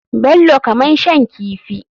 Bello kamar shan kifi.